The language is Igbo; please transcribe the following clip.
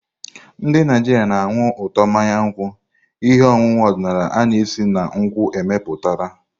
Ndị Naijiria na-anụ ụtọ mmanya nkwụ, ihe ọṅụṅụ ọdịnala a na-esi na nkwụ emepụtara.